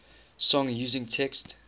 song using text